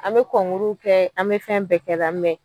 An bɛ kɛ an bɛ fɛn bɛɛ kɛla